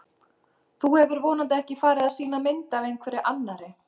Þú hefur vonandi ekki farið að sýna mynd af einhverri annarri!